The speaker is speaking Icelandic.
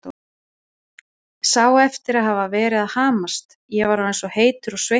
Sá eftir að hafa verið að hamast, ég var orðinn svo heitur og sveittur.